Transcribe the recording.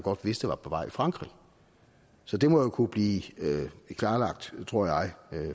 vidste var på vej i frankrig så det må jo kunne blive klarlagt tror jeg